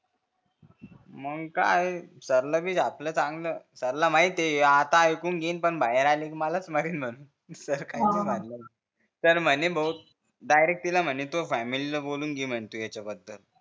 मंग काय हे सर ला पण लय झापले चांगलं सर ला माहित हे आता एकूण घेईन पण बाहेर आले कि मालच मारिन म्हणून सर काहींनाही म्हणले सर म्हणे भो डायरेक्ट तिला म्हणे तुह्या फॅमिलीला बोलावून घे म्हणे तू ह्यांच्याबद्दल